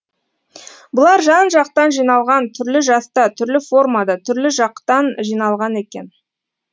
бұлар жан жақтан жиналған түрлі жаста түрлі формада түрлі жақтан жиналған екен